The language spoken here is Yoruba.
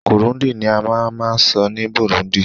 Kirundi ni a ma ma sọ ní Burundi